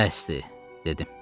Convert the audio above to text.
Bəsdir, dedim.